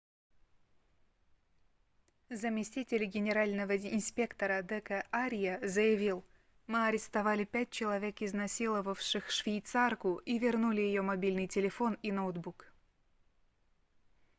заместитель генерального инспектора д к арья заявил мы арестовали пять человек изнасиловавших швейцарку и вернули ее мобильный телефон и ноутбук